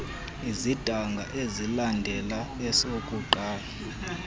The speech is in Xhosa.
esidanga esilandela esokuqala